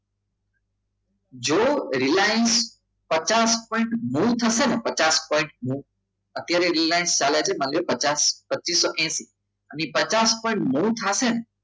જો રિલાયન્સ પચાસ પોઇંટ નવ થશે ને પચાસ પોઇંટ નવ અત્યારે રિલાયન્સ ચાલે છે પચાસ પ્રતિસત હેસિ અને પચાસ થશે ને